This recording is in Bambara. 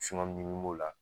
ɲimi b'o la